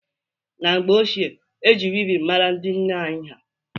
Na mgbe ochie, e ji wivin mara ndị nne anyị ha